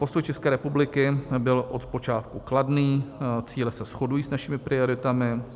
Postoj České republiky byl od počátku kladný, cíle se shodují s našimi prioritami.